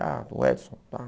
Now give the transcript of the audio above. Ah, o Edson, tá.